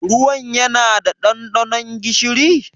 Ruwan ya na da ɗanɗanon gishiri?